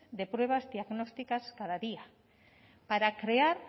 de pruebas diagnósticas cada día para crear